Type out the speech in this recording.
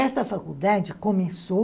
Esta faculdade começou